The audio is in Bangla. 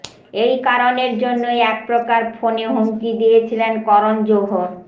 এই কারণের জন্যই একপ্রকার ফোনে হুমকি দিয়েছিলেন করণ জোহর